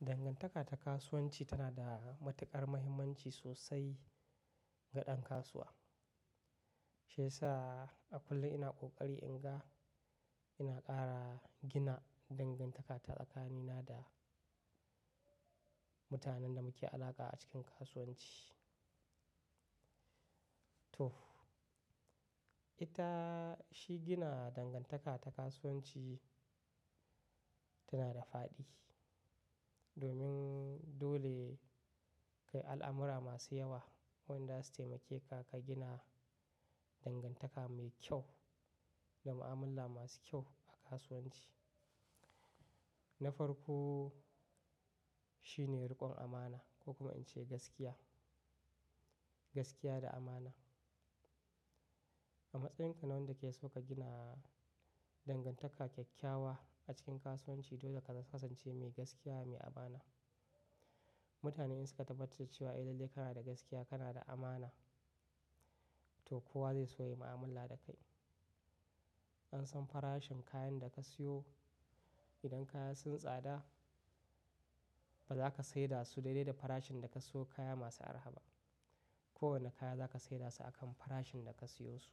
Dangantaka ta kasuwanci tana da matuƙar muhimmanci sosai ga ɗan kasuwa. Shiyasa a kullum ina kokari in ga, ina ƙara gina dangantaka ta tsakanina da mutanen da muke alaƙa a cikin kasuwanci. To ita shi gina dangantaka ta kasuwanci tana da faɗi. Domin dole kai al'amura masu yawa wanda zasu taimake ka, ka gina dangantaka mai kyau da ma'amulla masu kyau a kasuwanci. Na farko shine riƙon amana ko kuma in ce gaskiya, gaskiya da amana. A matsayinka na wanda ke so ka gina dangantaka kyakkyawa a cikin kasuwanci, dole ka kasance mai gaskiya, mai amana. Mutane in suka tabbatar da cewa eh lalle kana da gaskiya, kana da amana, to kowa zai so ya yi ma'amala da kai. An san farashin kayan da ka siyo. Idan kaya sunyi tsada ba za ka saida su daidai da farashin da ka siyo kaya masu arha ba. Kowane kaya za ka saida su akan farashin da ka siyo su.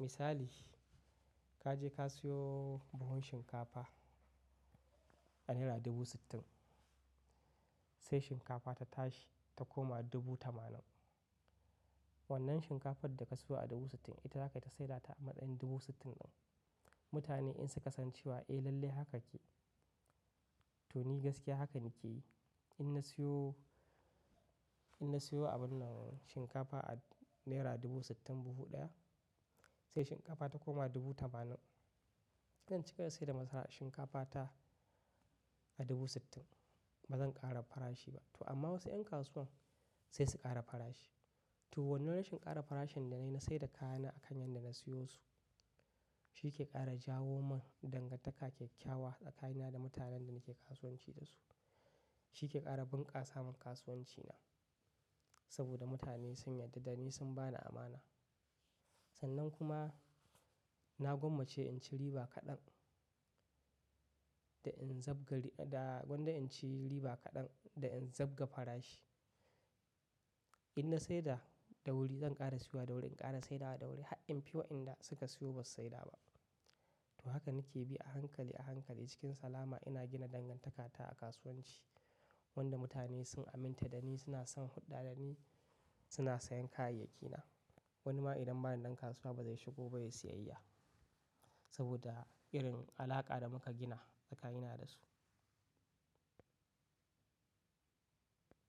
Misali ka je ka siyo buhun shinkafa a naira ɗubu sittin, sai shinkafa ta tashi ta koma ɗubu tamanin. Wannan shinkafar da ka siyo a ɗubu sittin ita za ka yi ta saida ta a matsayin ɗubu sittin ɗin. Mutane in suka san cewa eh lalle haka kake, to ni gaskiya haka nake yi. In na siyo, in na siyo abun nan shinkafa a naira dubu sittin buhu ɗaya sai shinkafa ta koma dubu tamanin, zan ci gaba da saida masara shinkafa ta a dubu sittin. Ba zan ƙara farashi ba. To amma wasu 'yan kasuwan sai su ƙara farashi. To wannan rashin kara farashin da na yi na saida kayana a kan yadda na siyo su. Shi ke ƙara jawo min dangantaka kyakkyawa tsakanina da mutanen da nake kasuwanci da su. Shi ke ƙara bunƙasa min kasuwanci na. Saboda mutane sun yarda da ni sun ba ni amana. Sannan kuma na gwammace in ci riba kaɗan da in zabga, da gwanda in ci riba kaɗan da in zabga farashi. In na saida da wuri zan ƙara siyo da wuri, in ƙara saida da wuri. Har infi wa 'yanda suka siyo ba su saida ba. To haka nake bi a hankali, a hankali cikin salama ina gina dangantakata a kasuwanci wanda mutane sun aminta da ni suna son hulɗa da ni, suna sayen kayayyakina. Wani ma idan ba na nan kasuwa ba zai shigo ba ya siyayya saboda irin alaƙa da muka gina tsakanina da su.